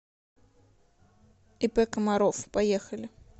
ип комаров поехали